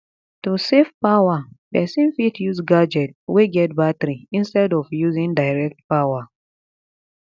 to save power person fit use gadget wey get battery instead of using direct power